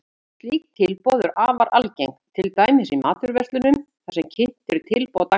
Slík tilboð eru afar algeng, til dæmis í matvöruverslunum þar sem kynnt eru tilboð dagsins.